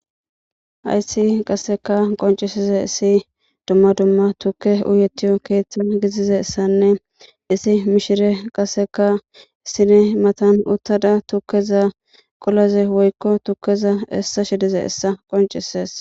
Hayssi kasekka qonccissizeessi dumma dumma thukkee uyeththiyo keeththan gizizeessanne issi mishiree qassika sine mathan uththada tukkeza, quleza woykko tukkeza essashizeessa qonccisses.